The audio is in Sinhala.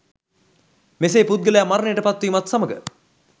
මෙසේ පුද්ගලයා මරණයට පත්වීමත් සමග